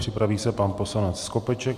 Připraví se pan poslanec Skopeček.